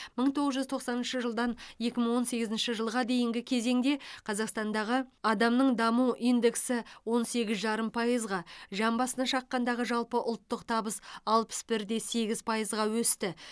мың тоғыз жүз тоқсаныншы жылдан екі мың он сегізінші жылға дейінгі кезеңде қазақстандағы адамның даму индексі он сегіз жарым пайызға жан басына шаққандағы жалпы ұлттық табыс алпыс бір де сегіз пайызға өсті